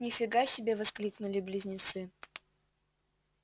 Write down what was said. ни фига себе воскликнули близнецы